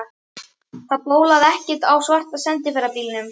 Það bólaði ekkert á svarta sendiferðabílnum.